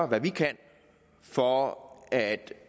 hvad vi kan for at